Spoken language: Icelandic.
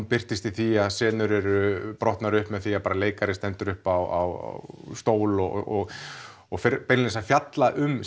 birtist í því að senur eru brotnar upp með því að leikari stendur upp á stól og og fer beinlínis að fjalla um